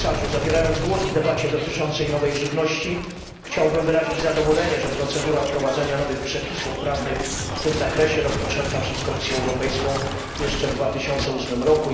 Zabierając głos w debacie dotyczącej nowej żywności chciałbym wyrazić zadowolenie, że procedura wprowadzania nowych przepisów prawnych w tym zakresie rozpoczęta przez Komisję Europejską jeszcze w 2008 r.